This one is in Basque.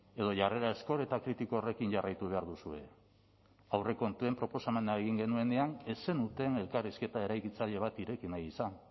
edo jarrera ezkor eta kritiko horrekin jarraitu behar duzue aurrekontuen proposamena egin genuenean ez zenuten elkarrizketa eraikitzaile bat ireki nahi izan